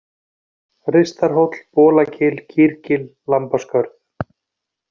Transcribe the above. Ristarhóll, Bolagil, Kýrgil, Lambaskörð